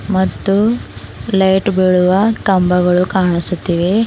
ಮತ್ತು ಲೈಟ್ ಬೀಳುವ ಕಂಬಗಳು ಕಾಣಿಸುತ್ತಿವೆ.